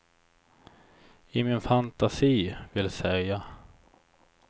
I min fantasi, vill säga.